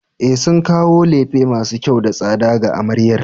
E, sun kawo lefe masu kyau da tsada ga amaryar.